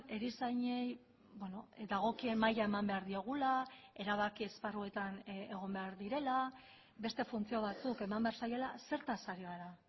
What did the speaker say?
erizainei dagokien maila eman behar diogula erabaki esparruetan egon behar direla beste funtzio batzuk eman behar zaiela zertaz ari gara